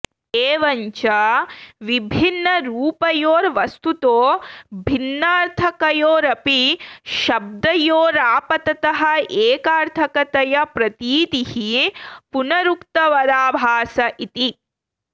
एवञ्च विभिन्नरूपयोर्वस्तुतो भिन्नार्थकयोरपि शब्दयोरापाततः एकार्थकतया प्रतीतिः पुनरुक्तवदाभास इति